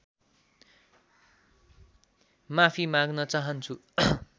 माफी माग्न चाहन्छु